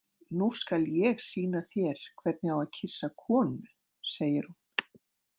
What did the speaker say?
Nú skal ég sýna þér hvernig á að kyssa konu, segir hún.